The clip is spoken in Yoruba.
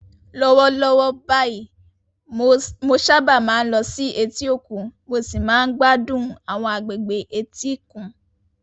Lọ́wọ́lọ́wọ́ báyìí, mo sábà máa ń lọ sí etí òkun mo sì máa ń gbádùn àwọn agbègbè etíkun.